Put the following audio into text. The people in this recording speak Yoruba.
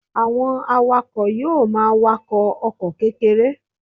Àwọn awakọ̀ yóò máa wakọ̀ ọkọ̀ kékeré